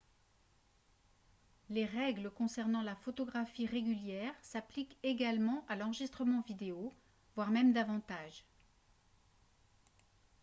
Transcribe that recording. les règles concernant la photographie régulière s'appliquent également à l'enregistrement vidéo voire même davantage